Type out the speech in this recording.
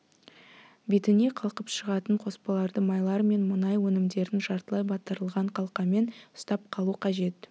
бетіне қалқып шығатын қоспаларды майлар мен мұнай өнімдерін жартылай батырылған қалқамен ұстап қалу қажет